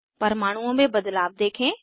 परमाणुओं में बदलाव देखें